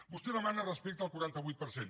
vostè demana respecte al quaranta vuit per cent